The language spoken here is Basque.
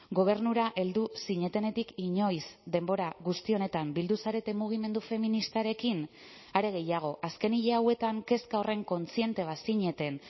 gobernura heldu zinetenetik inoiz denbora guzti honetan bildu zarete mugimendu feministarekin are gehiago azken hil hauetan kezka horren kontziente bazineten